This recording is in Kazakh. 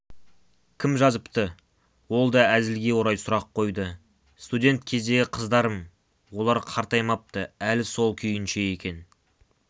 кім жазыпты ол да әзілге орай сұрақ қойды студент кездегі қыздарым олар қартаймапты әлі сол күйінше екен